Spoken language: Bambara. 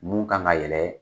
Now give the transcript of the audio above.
Mun kan ka yɛlɛ